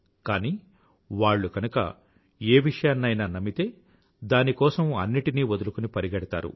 కానీ వాళ్ళు కనుక ఏ విషయాన్నైనా నమ్మితే దాని కోసం అన్నింటినీ వదులుకుని పరిగెడతారు